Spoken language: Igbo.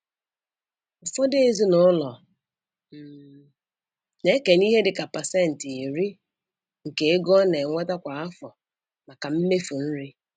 Ụfọdụ ezinaụlọ um na-ekenye ihe dịka pasentị iri (10%) nke ego ọ na-enweta kwa afọ maka mmefu nri.